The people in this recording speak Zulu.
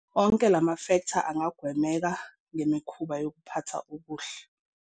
Onke lama mafektha angagwemeka ngemikhuba yokuphatha okuhle.